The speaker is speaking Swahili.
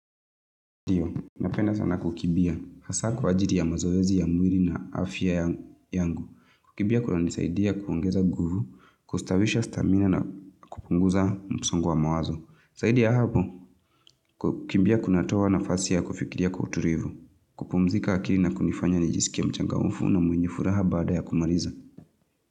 Ndio, napenda sana kukimbia, hasa kwa ajili ya mazoezi ya mwili na afya yangu. Kukimbia kunanisaidia kuongeza nguvu, kustawisha stamina na kupunguza msongo wa mawazo. Zaidi ya hapo, kukimbia kunatoa nafasi ya kufikiria kwa utulivu. Kupumzika akili na kunifanya nijisikie mchangmfu na mwenye furaha baada ya kumaliza.